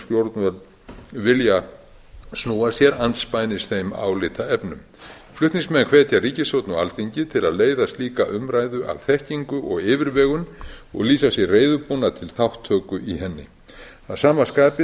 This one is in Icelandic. stjórnvöld vilja snúa sér andspænis þeim álitaefnum flutningsmenn hvetja ríkisstjórn og alþingi til að leiða slíka umræðu af þekkingu og yfirvegun og lýsa sig reiðubúna til þátttöku í henni að sama skapi